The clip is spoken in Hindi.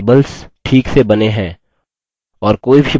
a ठीक से बने हैं और